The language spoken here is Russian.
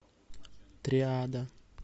триада